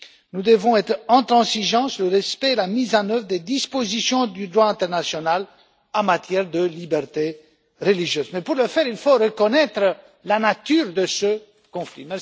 Nous devons être intransigeants sur le respect et la mise en œuvre des dispositions du droit international en matière de liberté religieuse, mais, pour ce faire, il faut reconnaître la nature de ce conflit.